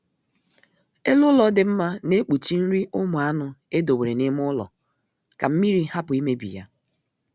Elu ụlọ dị mma na-ekpuchi nri ụmụ anụ edowere n'ime ụlọ ka mmiri hapụ imebi ya